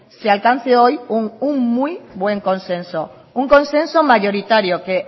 se alcance hoy un muy buen consenso un consenso mayoritario que